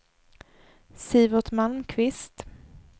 Sivert Malmqvist